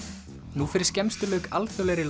nú fyrir skemmstu lauk alþjóðlegri